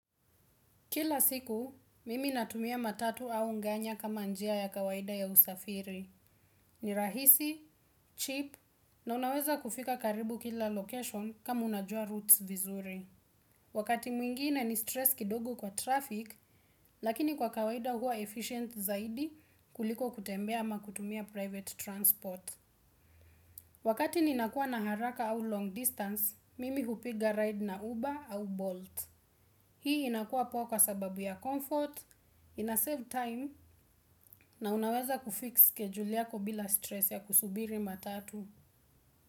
Kila siku, mimi natumia matatu au nganya kama njia ya kawaida ya usafiri. Ni rahisi, cheap, na unaweza kufika karibu kila location kama unajua roots vizuri. Wakati mwingine ni stress kidogo kwa traffic, lakini kwa kawaida huwa efficient zaidi kuliko kutembea ama kutumia private transport. Wakati ninakua na haraka au long distance, mimi hupiga ride na Uber au Bolt. Hii inakua poa kwa sababu ya comfort, ina save time na unaweza kufix schedule yako bila stress ya kusubiri matatu.